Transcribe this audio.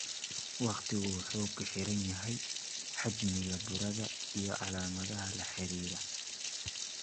Waqtigu wuxuu ku xiran yahay xajmiga burada iyo calaamadaha la xiriira.